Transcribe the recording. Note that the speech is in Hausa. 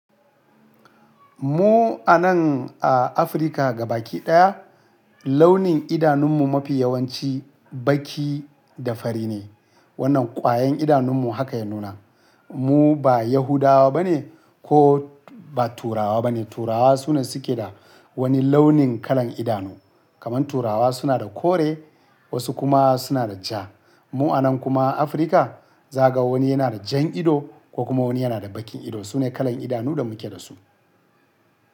Mu a nan a Afrika gabaki ɗaya launin idanunmu mafi yawanci baki da fari ne. Wannan kwayan idanunmu haka ya nuna. Mu ba Yahudawa ba ne ko ba Turawa ba ne. Turawa su na suke da wani launin kalan idanu. Kaman Turawa suna da kore wasu kuma suna da jaa. Mu a nan kuma Afrika zaga wani yana da jan ido ko kuma wani yana da bakin ido sune kalan idanu da muke da su.